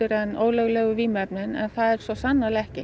en ólöglegu vímuefnin en það er svo sannarlega ekki